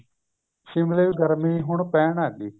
ਸਿਮਲੇ ਗਰਮੀ ਹੁਣ ਪੈਣ ਲੱਗ ਗਈ